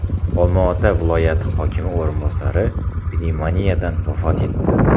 Olmaota viloyati hokimi o‘rinbosari pnevmoniyadan vafot etdi.